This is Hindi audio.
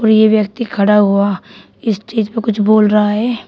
और ये व्यक्ति खड़ा हुआ स्टेज प कुछ बोल रहा है।